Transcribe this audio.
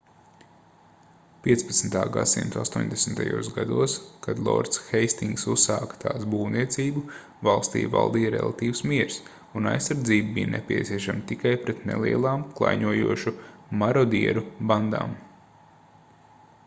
15. gs astoņdesmitajos gados kad lords heistingss uzsāka tās būvniecību valstī valdīja relatīvs miers un aizsardzība bija nepieciešama tikai pret nelielām klaiņojošu marodieru bandām